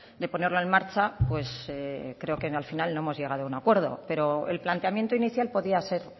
de ponerlo en marcha pues creo que al final no hemos llegado a un acuerdo pero el planteamiento inicial podía ser